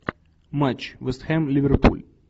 матч вест хэм ливерпуль